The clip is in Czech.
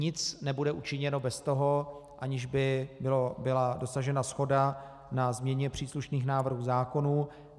Nic nebude učiněno bez toho, aniž by byla dosažena shoda na změně příslušných návrhů zákonů.